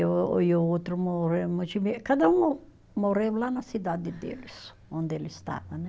E o, e o outro morreu cada um morreu lá na cidade deles, onde eles estava, né?